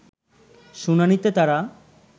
শুনানিতে তারা